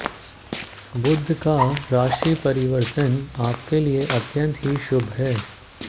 बुध का राशि परिवर्तन आपके लिए अत्यंत ही शुभ है